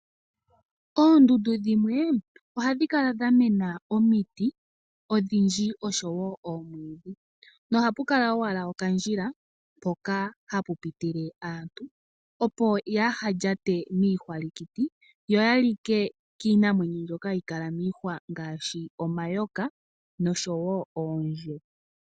Oondundu dhimwe ohadhi kala dha mena omiti odhindji osho woo oomwiidhi, no ha pu kala owala okandjila mpoka hapu pitule aantu, opo haa ya lyate miihwalikiti yo ya like kiinamwenyo mbyoka hayi kala miihwa ngaashi omayoka nosho woo oondje.